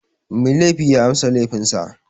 Mai laifi ya amsa laifin sa.